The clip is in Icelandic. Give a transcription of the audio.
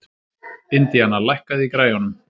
Indiana, lækkaðu í græjunum.